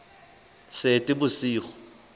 seetebosigo